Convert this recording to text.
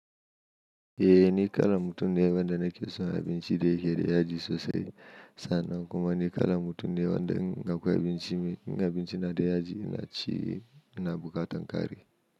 Eh ni kala mutum ne wanda nake son abinci da yake da yaji sosai. Sannan kuma ni kala mutum ne wanda in akwai abinci, in abinci na da yaji ina ci ina bukatan kari.